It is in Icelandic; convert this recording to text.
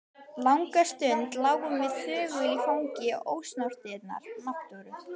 Langa stund lágum við þögul í fangi ósnortinnar náttúru.